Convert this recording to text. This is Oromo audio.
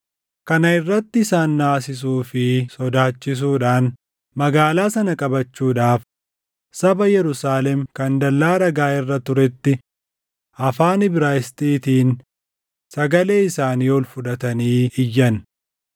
Kana irratti isaan naasisuu fi sodaachisuudhaan magaalaa sana qabachuudhaaf saba Yerusaalem kan dallaa dhagaa irra tureetti afaan Ibraayisxiitiin sagalee isaanii ol fudhatanii iyyan.